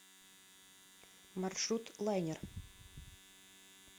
маршрут лайнер